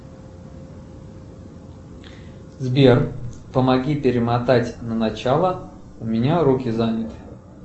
сбер помоги перемотать на начало у меня руки заняты